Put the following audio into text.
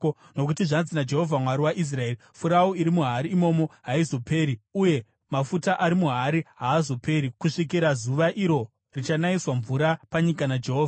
Nokuti zvanzi naJehovha, Mwari waIsraeri, ‘Furawu iri muhari imomo haizoperi uye mafuta ari muhari haazoperi kusvikira zuva iro richanayiswa mvura panyika naJehovha.’ ”